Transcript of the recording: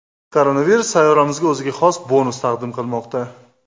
Koronavirus sayyoramizga o‘ziga xos bonus taqdim qilmoqda.